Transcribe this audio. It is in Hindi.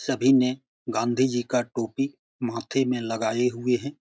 सभी ने गाँधी जी का टोपी माथे में लगाए हुए है।